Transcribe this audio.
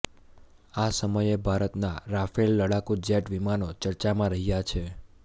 આ સમયે ભારતના રાફેલ લડાકૂ જેટ વિમાનો ચર્ચામાં રહ્યા છે